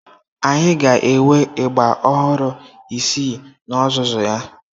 Anyị ga-enwe ịgbà ọhụrụ isii n'ozuzu ya.